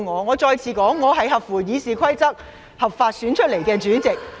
我再次重申，我是根據《議事規則》合法選出的內務委員會主席。